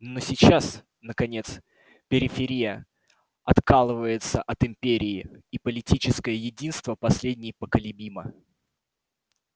но сейчас наконец периферия откалывается от империи и политическое единство последней поколебимо